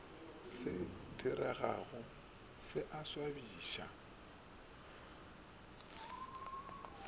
se diregago se a swabiša